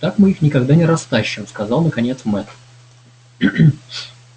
так мы их никогда не растащим сказал наконец мэтт